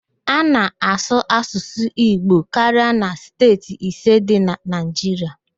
A na-asụ Asụsụ Igbo karia na steeti ise dị na Naịjiria